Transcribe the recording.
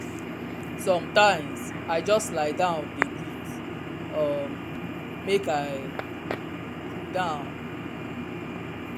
sometimes i just lie down dey breathe um make i cool down.